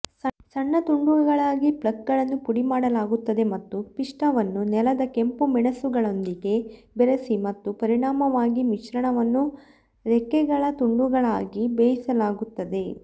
ಸಣ್ಣ ತುಂಡುಗಳಾಗಿ ಫ್ಲೇಕ್ಗಳನ್ನು ಪುಡಿಮಾಡಲಾಗುತ್ತದೆ ಮತ್ತು ಪಿಷ್ಟವನ್ನು ನೆಲದ ಕೆಂಪುಮೆಣಸುಗಳೊಂದಿಗೆ ಬೆರೆಸಿ ಮತ್ತು ಪರಿಣಾಮವಾಗಿ ಮಿಶ್ರಣವನ್ನು ರೆಕ್ಕೆಗಳ ತುಂಡುಗಳಾಗಿ ಬೇಯಿಸಲಾಗುತ್ತದೆ